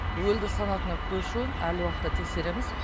өлді санатына көшуін әл уақытта тексереміз